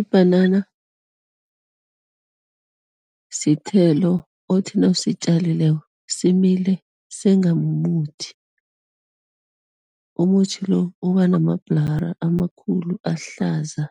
Ibhanana sithelo othi nawusitjalileko simile senga mumuthi. Umuthi lo uba namabhulara amakhulu, ahlaza,